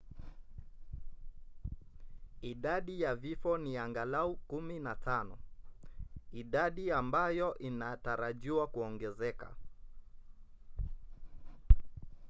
idadi ya vifo ni angalau 15 idadi ambayo inatarajiwa kuongezeka